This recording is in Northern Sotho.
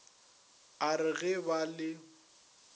a re ge ba le